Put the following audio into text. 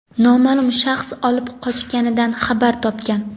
noma’lum shaxs olib qochganidan xabar topgan.